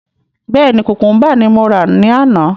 Bẹ́ẹ̀ni, kukumba ní mo rà ní àná